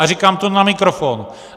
A říkám to na mikrofon.